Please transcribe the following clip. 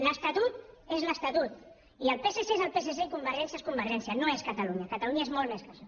l’estatut és l’estatut i el psc és el psc i convergència és convergència no és catalunya catalunya és molt més que això